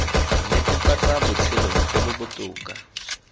netefatsa botshelo jo bo botoka